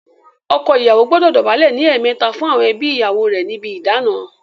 Ọkọ ìyàwó gbọdọ dọ̀bálẹ̀ ní ẹ̀ẹ̀mẹta fún àwọn ẹbí ìyàwó rè níbi ìdána.